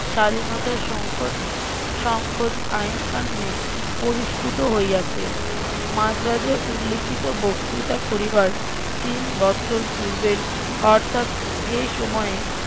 স্বাধীনতার সংকোচ সংকোচ আইন কানুনে পরিস্ফুট হইয়াছে মাদ্রাজে উল্লিখিত বক্তৃতা করিবার তিন বৎসর পূর্বের অর্থাৎ যে সময়ে